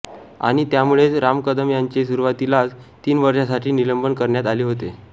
आणि त्यामुळेच राम कदम यांचे सुरवातीलाच तीन वर्षासाठी निलंबन करण्यात आले होते